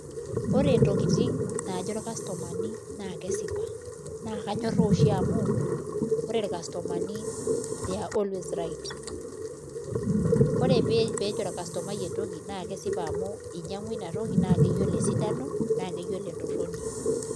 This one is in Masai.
Ore ntokitin naajo ircustomani naa kesipa naa kanyorraa oshi amu ore ircustomani they're always right ore pee ejo orcustomai entoki naa kesipa amu inyiang'ua ina toki naa keyiolo esidano naa keyiolo entorroni.